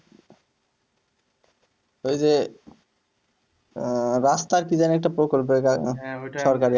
ওইযে আহ রাস্তার কি জানি একটা সরকারি